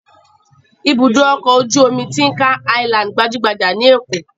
Ibùdó-ọkọ̀ ojú-omi Tin Can Island gbajú-gbajà ní Èkó.